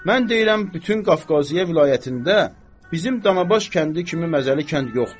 Mən deyirəm bütün Qafqaziyə vilayətində bizim Danabaş kəndi kimi məzəli kənd yoxdur.